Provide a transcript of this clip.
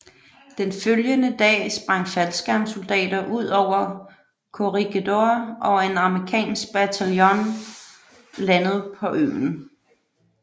Den følgende dag sprang faldskærmssoldater ud over Corregidor og en amerikansk bataljon landede på øen